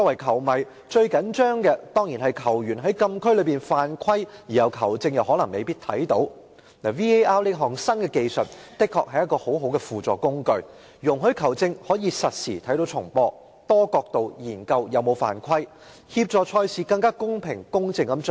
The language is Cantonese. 球迷最緊張的情況，當然是球員在禁區犯規，而球證又未必看到 ，VAR 這項新技術的確是很好的輔助工具，讓球證可以實時觀看重播，多角度研究球員有否犯規，協助賽事更公平公正地進行。